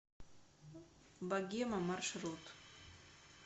богема маршрут